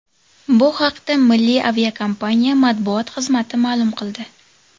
Bu haqda milliy aviakompaniya matbuot xizmati ma’lum qildi .